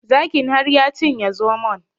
Zakin har ya cinye zomon